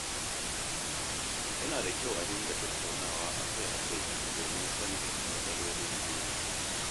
Yana da kyau a dinga tattaunawa a kai a kai domin sanin matsalolin juna.